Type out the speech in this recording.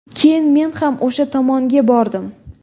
Keyin men ham o‘sha tomonga bordim.